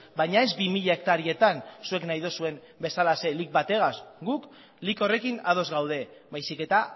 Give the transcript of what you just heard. baina ez bi mila hektarietan zuek nahi dozuen bezalaxe lic bategaz guk lic horrekin ados gaude baizik eta